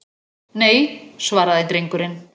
Nei, svaraði drengurinn.